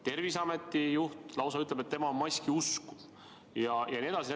Terviseameti juht lausa ütleb, et tema on maskiusku jne.